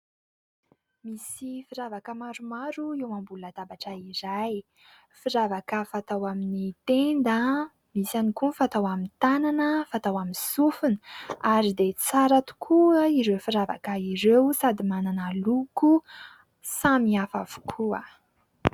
Misy firavaka maromaro eo ambony latabatra iray. Firavaka amin'ny tenda, misy ihany koa fatao amin'ny tanana, fatao amin'ny sofina ary dia tsara tokoa ireo firavaka ireo sady manana loko samihafa avokoa.